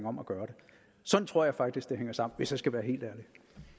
om at gøre det sådan tror jeg faktisk det hænger sammen hvis jeg skal være helt ærlig